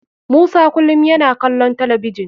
Musa kulum yana kalon talabijin.